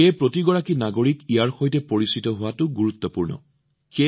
সেয়েহে প্ৰতিজন নাগৰিকে ইয়াৰ সৈতে পৰিচিত হোৱাটো গুৰুত্বপূৰ্ণ